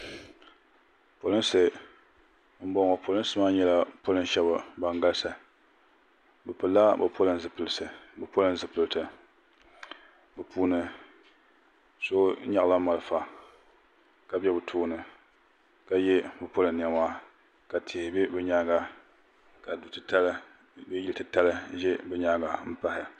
polinsi n bɔŋɔ polinsi maa nyɛla ban galisi be pɛla be polin zipiɛlla be puuni so nyɛla bariƒɔ ka bɛ be tuuni ka yɛ be polin nɛma ka tihi bɛ be nyɛŋa ka do titali bɛ yili titali nɛ be nyɛŋa